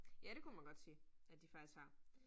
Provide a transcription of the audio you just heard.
Ja, det kunne man godt sige, at de faktisk har